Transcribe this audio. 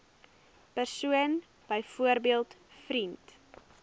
persoon byvoorbeeld vriend